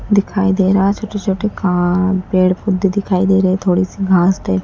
दिखाई दे रहा है छोटे छोटे का पेड़ पौधे दिखाई दे रहे थोड़ी सी घास दे--